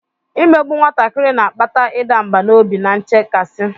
Imegbu nwatakịrị na-akpata ịda mbà n'obi na nchekasị.